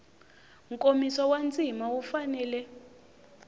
nkomiso wa ndzima wu fanele